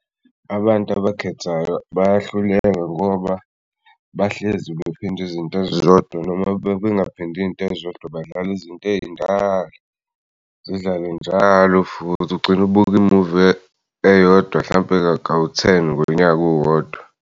Abantu abakhethayo bayahluleka ngoba bahlezi bephinde iy'ntezodwa noma bengaphindi'ntezodwa badlala izinto ey'ndala zidlale njalo futhi ugcinu'buke imuvi eyodwa hlampe kawu-ten ngonyaka owodwa.